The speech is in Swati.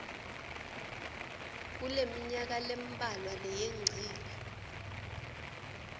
kuleminyaka lembalwa leyengcile